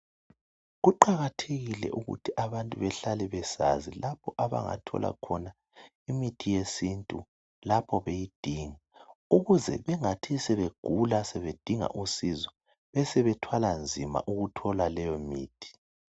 Kuqakathekile ukuthi abantu behlale besazi lapho abangathola khona imithi yesintu lapho beyidinga ukuze bengathi sebegula sebedinga usizo besebethwala nzima ukuthola leyo mithi.